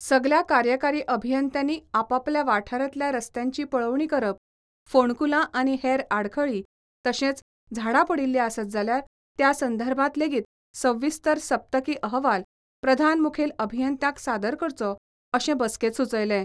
सगल्या कार्यकारी अभियंत्यांनी आपापल्या वाठारातल्या रस्त्यांची पळोवणी करप, फोणकुलां आनी हेर आडखळी तशेंच झाडां पडिल्ली आसत जाल्यार त्या संदर्भात लेगीत सविस्तर सप्तकी अहवाल प्रधान मुखेल अभियंत्यांक सादर करचो अशें बसकेंत सुचयलें.